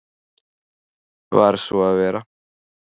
Varð svo að vera.